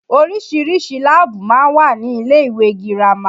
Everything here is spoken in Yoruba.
Oríṣiríṣi láàbù máa ń wà ní ilé ìwé girama